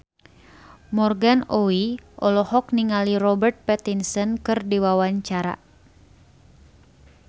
Morgan Oey olohok ningali Robert Pattinson keur diwawancara